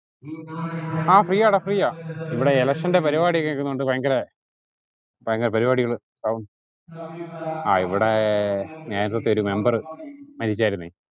ആ free യാട free ആ ഇവിടെ election ന്റെ പരിപാടിയൊക്കെ നടക്കുന്നൊണ്ട് ഭയങ്കര ഭയങ്കര പരിപാടികൾ ആഹ് ഹും ആ ഇവിടെ നേരത്തെത്തെ ഒരു member മരിച്ചാർന്നേ